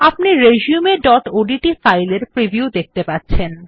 আপনি resumeওডিটি ফাইলের প্রিভিউ দেখতে পাচ্ছেন